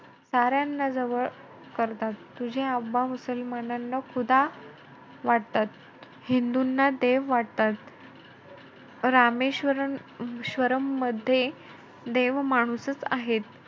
साऱ्यांना जवळ करतात. तुझे मुसलमानांना वाटतात. हिंदूंना देव वाटतात. रामेश्वरम~ श्वरममध्ये देव माणूसचं आहे.